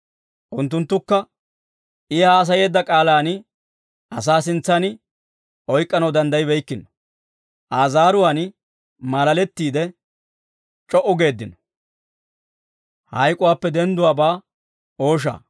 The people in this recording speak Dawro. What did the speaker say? Unttunttukka, I haasayeedda K'aalaan asaa sintsan oyk'k'anaw danddayibeykkino. Aa zaaruwaan maalalettiide c'o"u geeddino.